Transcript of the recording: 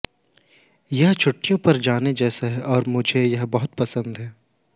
यह छुट्टियों पर जाने जैसा है और मुझे यह बहुत पसंद है